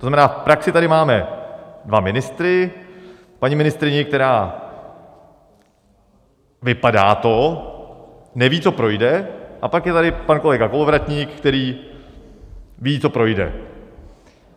To znamená, v praxi tady máme dva ministry, paní ministryni, která - vypadá to - neví, co projde, a pak je tady pan kolega Kolovratník, který ví, co projde.